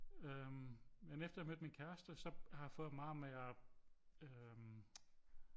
Øh men efter jeg mødte min kæreste så har jeg fået meget mere øh